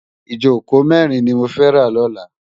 Ijókó mèrin ni mó fè rá lòlá